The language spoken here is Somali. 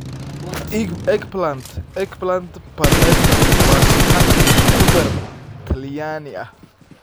Eggplant Parmesan waa saxan khudaar Talyaani ah.